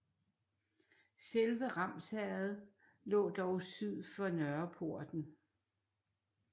Selve Ramsherred lå dog syd for Nørreporten